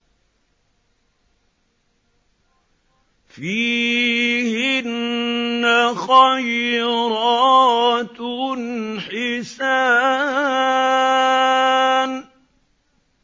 فِيهِنَّ خَيْرَاتٌ حِسَانٌ